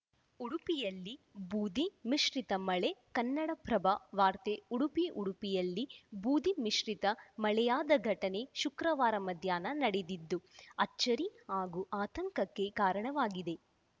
ಉಡುಪಿಯಲ್ಲಿ ಬೂದಿ ಮಿಶ್ರಿತ ಮಳೆ ಕನ್ನಡಪ್ರಭ ವಾರ್ತೆ ಉಡುಪಿ ಉಡುಪಿಯಲ್ಲಿ ಬೂದಿ ಮಿಶ್ರಿತ ಮಳೆಯಾದ ಘಟನೆ ಶುಕ್ರವಾರ ಮಧ್ಯಾಹ್ನ ನಡೆದಿದ್ದು ಅಚ್ಚರಿ ಹಾಗೂ ಆತಂಕಕ್ಕೆ ಕಾರಣವಾಗಿದೆ